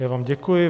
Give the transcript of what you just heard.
Já vám děkuji.